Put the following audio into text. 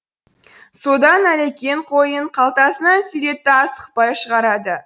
содан әлекең қойын қалтасынан суретті асықпай шығарады